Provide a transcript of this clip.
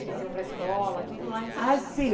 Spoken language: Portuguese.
Eles iam para a escola, tudo lá em Santiago? Ah, sim